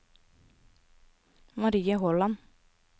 Marie Håland